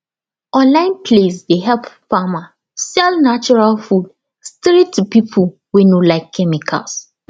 online place dey help farmer sell natural food straight to people wey no like chemicals